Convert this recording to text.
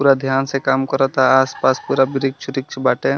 पूरा ध्यान कराता आस-पास पूरा बृछ-उरिछ बाटे।